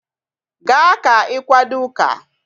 Gaa ka ị kwado ụka!